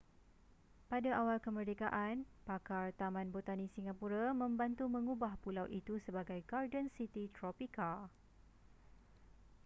pada awal kemerdekaan pakar taman botani singapura membantu mengubah pulau itu sebagai garden city tropika